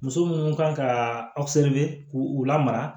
Muso minnu kan ka aw k'u lamara